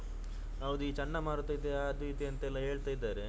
ಹೌದು ಈ ಚಂಡಮಾರುತ ಅದು ಇದು ಎಂತೆಲ್ಲಾ ಹೇಳ್ತಿದ್ದಾರೆ.